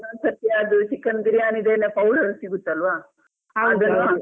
ಒಂದೊಂದು ಸರ್ತಿ ಅದು chicken ಬಿರಿಯಾನಿದೆನೇ powder ಸಿಗುತಲ್ವಾ .